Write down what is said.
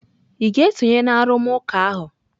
Ị ga-esonye na arụmụka ahụ?